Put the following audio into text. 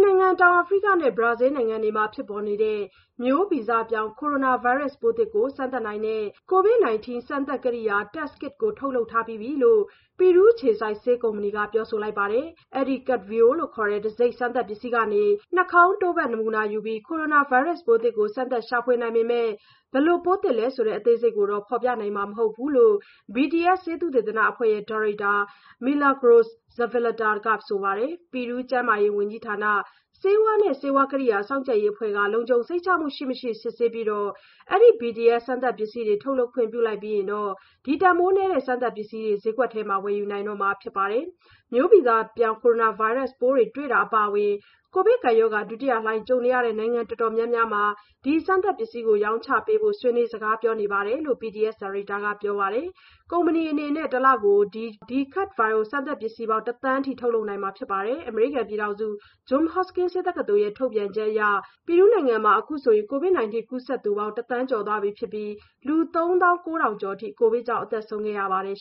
နိုင်ငံ၊ တောင်အာဖရိကနဲ့ ဘရာဇီးလ်နိုင်ငံတွေမှာ ဖြစ်ပေါ်နေတဲ့ မျိုးဗီဇပြောင်းကိုရိုနာဗိုင်းရပ်စ်ပိုးသစ်ကို စမ်းသပ်နိုင်တဲ့ COVID 19 စမ်းသပ်ကိရိယာ Test kit ထုတ်လုပ်ထားပြီလို့ ပီရူးအခြေစိုက်ဆေး ကုမ္ပဏီက ပြောလိုက်ပါတယ်။ အဲဒီ “CavBio” တံဆိပ် စမ်းသပ်ပစ္စည်းကနေ နှာခေါင်းတို့ဖတ် နမူနာယူပြီး ကိုရိုနာဗိုင်းရပ်စ်ပိုးသစ်ကို စမ်းသပ်ရှာဖွေနိုင်ပေမဲ့ ဘယ်လိုပိုးသစ်လဲဆိုတဲ့ အသေးစိတ်ကိုတော့ ဖော်ပြနိုင်မှာ မဟုတ်ဘူးလို့ BTS Consultores Research ဆေးသုတေသနအဖွဲ့ရဲ့ဒါရိုက်တာ Milagros Zavaleta က ဆိုပါတယ်။ ပီရူးကျန်းမာရေးဝန်ကြီးဌာန (Digemid) ဆေးဝါးနဲ့ ဆေးဝါး ကိရိယာစောင့်ကြပ်ရေးအဖွဲ့ကနေလုံခြုံစိတ်ချမှုရှိ၊ မရှိ စစ်ဆေးပြီး အဲဒီ BTC စမ်းသပ်ပစ္စည်းတွေ ထုတ်လုပ်ခွင့်ပြုလိုက်ပြီးရင်တော့ တန်ဖိုးနည်း ဒီစမ်းသပ်ပစ္စည်းတွေ ဈေးကွက်ထဲ ဝယ်ယူနိုင်တော့မှာဖြစ်ပါတယ်။ မျိုးဗီဇပြောင်းပိုးတွေ့တာအပါအဝင် ကိုဗစ်ကပ်ရောဂါ ဒုတိယလှိုင်းကြုံနေရတဲ့ နိုင်ငံတော်တော်များများမှာ ဒီစမ်းသပ်ပစ္စည်းရောင်းချပေးနိုင်ဖို့ ဆွေးနွေးစကားပြောတာတွေ ရှိနေပြီလို့ BTS ဒါရိုက်တာကပြောပါတယ်။ ကုမ္ပဏီအနေနဲ့ တလကို ဒီ CavBio စမ်းသပ်ပစ္စည်းပေါင်း ၁,၀၀၀,၀၀၀ အထိ ထုတ်လုပ်နိုင်မှာဖြစ်ပါတယ်။ အမေရိကန်ပြည်ထောင်စု Johns Hopkins University Covid Resource Center ရဲ့ ထုတ်ပြန်ချက်အရ ပီရူးနိုင်ငံမှာ အခုဆိုရင် ကိုဗစ် ၁၉ ကူးစက်သူပေါင်းက ၁,၀၀၀,၀၀၀ ကျော်သွားပြီဖြစ်ပြီး လူ ၃၉,၀၀၀ ကျော်အထိ ကိုဗစ်ကြောင့် အသက်ဆုံးရှုံးခဲ့ရပါတယ်